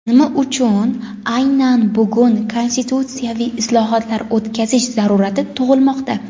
Nima uchun aynan bugun konstitutsiyaviy islohotlar o‘tkazish zarurati tug‘ilmoqda?.